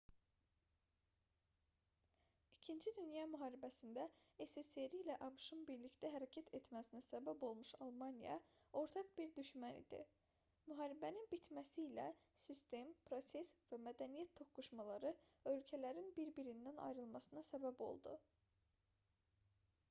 ii dünya müharibəsində ssri̇ ilə abş-ın birlikdə hərəkət etməsinə səbəb olmuş almaniya ortaq bir düşmən idi. müharibənin bitməsi ilə sistem proses və mədəniyyət toqquşmaları ölkələrin bir-birindən ayrılmasına səbəb oldu